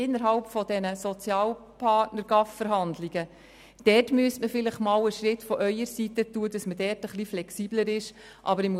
Innerhalb der GAVVerhandlungen zwischen den Sozialpartnern müsste man vielleicht einen Schritt von Ihrer Seite, das heisst vonseiten der Linken, machen, um dort etwas flexibler agieren zu können;